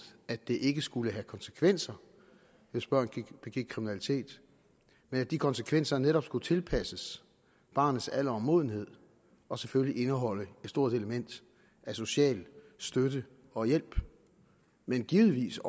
at det ikke skulle have konsekvenser hvis børn begik kriminalitet men at de konsekvenser netop skulle tilpasses barnets alder og modenhed og selvfølgelig indeholde et stort element af social støtte og hjælp men givetvis